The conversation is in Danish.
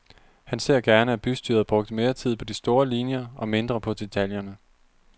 Han ser gerne, at bystyret brugte mere tid på de store linjer, og mindre på detaljerne.